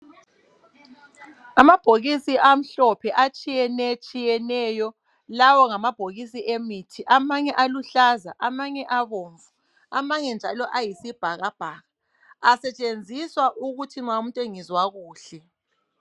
Amabhokisi amhlophe atshiyenetshiyeneyo lawo ngamabhokisi emithi amanye aluhlaza ,amanye abomvu amanye njalo ayisibhakabhaka asetshenziswa ukuthi ma umuntu engezwa kuhle.